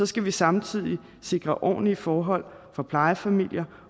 skal vi samtidig sikre ordentlige forhold for plejefamilier